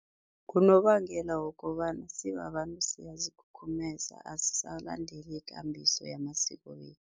Ngunobangela wokobana sibabantu siyazikhukhumeza, asisalandeli ikambiso yamasiko wethu.